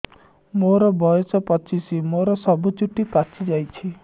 ମୋର ବୟସ ପଚିଶି ମୋର ସବୁ ଚୁଟି ପାଚି ଯାଇଛି